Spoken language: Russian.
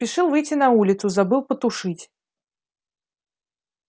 спешил выйти на улицу забыл потушить